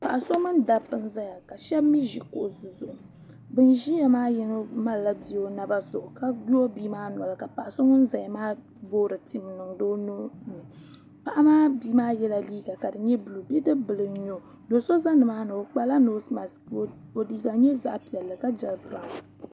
paɣa so mini dabba n ʒɛya ka shab mii ʒi kuɣusi zuɣu bin ʒiya maa yino malila bia o naba zuɣu ka gbubi bia maa noli ka paɣa so ŋun ʒɛya maa boori tim n niŋdi o paɣa maa bia maa yɛla liiga ka di nyɛ buluu bidib bili n nyɛ o do so ʒɛ nimaani o kpala noos mask ka o liiga nyɛ zaɣ piɛlli ka jɛri